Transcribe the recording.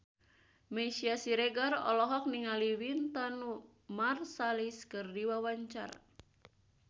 Meisya Siregar olohok ningali Wynton Marsalis keur diwawancara